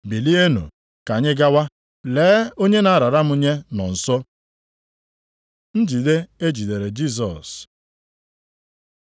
Bilienụ! Ka anyị gawa! Lee, onye na-arara m nye nọ nso.” Njide e jidere Jisọs